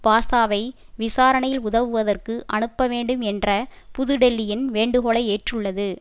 பாஷாவை விசாரணையில் உதவுவதற்கு அனுப்ப வேண்டும் என்ற புது டெல்லியின் வேண்டுகோளை ஏற்றுள்ளது